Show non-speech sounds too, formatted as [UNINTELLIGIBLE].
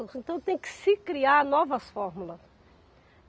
[UNINTELLIGIBLE] Então tem que se criar novas fórmulas.